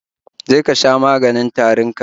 Je ka sha maganin tarin ka